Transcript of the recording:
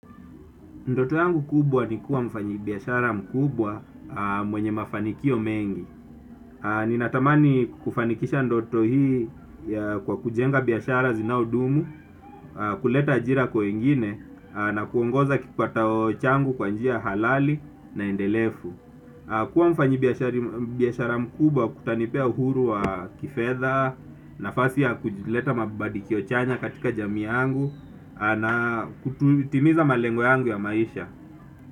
Ndoto yangu kubwa ni kuwa mfanyi biashara mkubwa mwenye mafanikio mengi. Ninatamani kufanikisha ndoto hii kwa kujenga biashara zinao dumu, kuleta ajira kwa wengine, na kuongoza kipatao changu kwa njia halali na endelevu. Kuwa mfanyi biashara mkubwa kutanipea uhuru wa kifedha, nafasi ya kujileta mabadiliko chanya katika jami yangu, na kutimiza malengo yangu ya maisha.